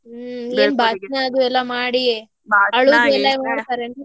ಹ್ಮ್ ಏನ್ ಭಾಷಣಾ ಅದು ಎಲ್ಲಾ ಮಾಡಿ ಅಳುದು ಎಲ್ಲಾ ಮಾಡತರೇನ್ರೀ.